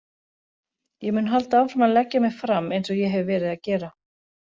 Ég mun halda áfram að leggja mig fram eins og ég hef verið að gera.